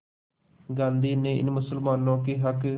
गांधी ने इन मुसलमानों के हक़